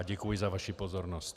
A děkuji za vaši pozornost.